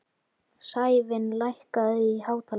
Sævin, lækkaðu í hátalaranum.